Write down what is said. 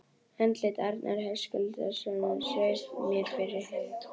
Andlit Arnar Höskuldssonar sveif mér fyrir hug